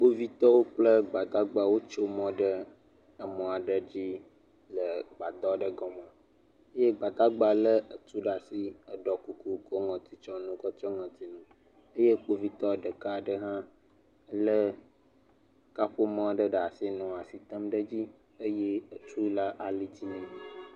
Kpovitɔ kple asrafowo le teƒe siaa. Wotɔ ɖe eŋu yi ke kɔna ame yina ɖe kɔdzi nenye be amewo ƒe lãme gblẽ eye kpovitɔwo ƒe ŋu yi ke wonɔna ame hã le afi ya.